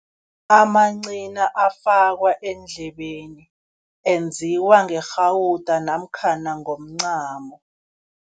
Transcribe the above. Amancina afakwa endlebeni, enziwa ngerhawuda namkhana ngomncamo.